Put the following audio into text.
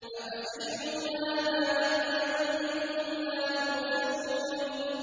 أَفَسِحْرٌ هَٰذَا أَمْ أَنتُمْ لَا تُبْصِرُونَ